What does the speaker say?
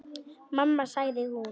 Mamma sagði hún.